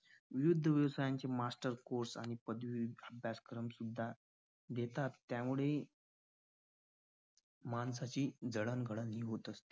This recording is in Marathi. विविध व्यवसायांचे master course पदवी अभ्यासक्रम सुद्धा देतात त्यामुळेही माणसाची जडणघडण ही होत असते.